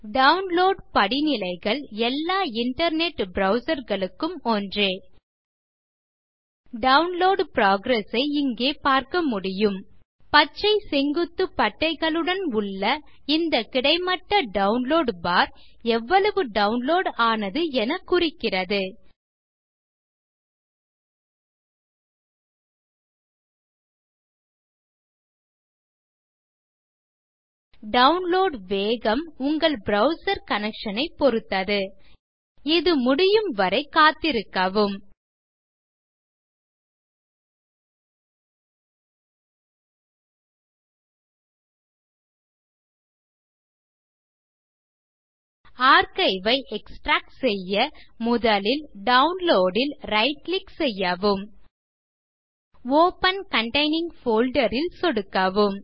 download படிநிலைகள் எல்லா internet browserகளுக்கும் ஒன்றே டவுன்லோட் புரோகிரஸ் ஐ இங்கே பார்க்க முடியும் பச்சை செங்குத்து பட்டைகளுடன் உள்ள இந்த கிடைமட்ட டவுன்லோட் பார் எவ்வளவு டவுன்லோட் ஆனது என குறிக்கிறது டவுன்லோட் வேகம் உங்கள் இன்டர்நெட் கனெக்ஷன் ஐ பொருத்தது இது முடியும் வரை காத்திருக்கவும் ஆர்க்கைவ் ஐ எக்ஸ்ட்ராக்ட் செய்ய முதலில் டவுன்லோட் ல் ரைட் கிளிக் செய்யவும் ஒப்பன் கன்டெயினிங் போல்டர் ல் சொடுக்கவும்